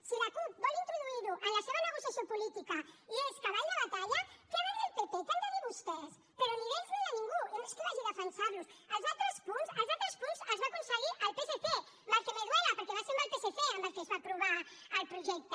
si la cup vol introduir ho en la seva negociació política i és cavall de batalla què ha de dir el pp què han de dir vostès però ni d’ells ni de ningú i no és que els defensi els altres punts els altres punts els va aconseguir el psc mal que me duelaaprovar el projecte